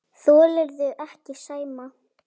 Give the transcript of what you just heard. Þolirðu ekki Sæma?